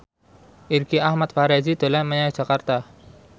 Irgi Ahmad Fahrezi dolan menyang Jakarta